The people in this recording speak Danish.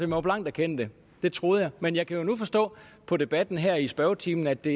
må blankt erkende det det troede jeg men jeg kan nu forstå på debatten her i spørgetimen at det